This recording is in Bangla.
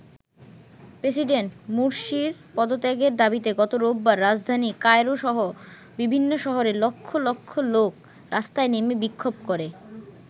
প্রেসিডেন্ট মুরসির পদত্যাগের দাবিতে গত রোববার রাজধানী কায়রোসহ বিভিন্ন শহরে লক্ষ লক্ষ লোক রাস্তায় নেমে বিক্ষোভ করে।